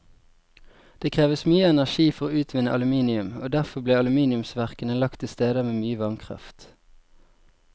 Det kreves mye energi for å utvinne aluminium, og derfor ble aluminiumsverkene lagt til steder med mye vannkraft.